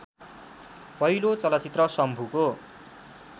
पहिलो चलचित्र शम्भुको